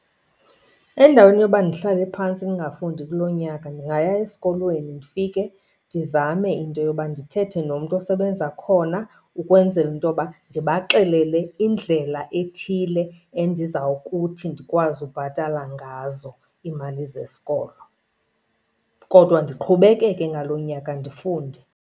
Endaweni yoba ndihlale phantsi ndingafundi kuloo nyaka ndingaya esikolweni ndifike ndizame into yoba ndithethe nomntu osebenza khona ukwenzela into yoba ndibaxelele indlela ethile endizawukuthi ndikwazi ubhatala ngazo iimali zesikolo. Kodwa ndiqhubekeke ngaloo nyaka ndifunde.